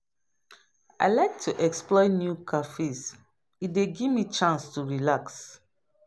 I like to explore new cafes; e dey give me chance to relax.